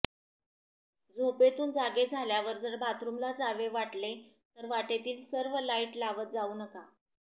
झोपेतून जागे झाल्यावर जर बाथरूमला जावे वाटले तर वाटेतील सर्व लाईट लावत जावू नका